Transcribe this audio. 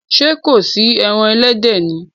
Ṣé kò sí ẹran ẹlẹ́dẹ̀ ni?